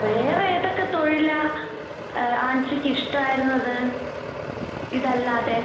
വേറെ ഏതൊക്കെ തൊഴിലാ ഏഹ് ആൻസിക്കിഷ്ടായിരുന്നത് ഇതല്ലാതെ?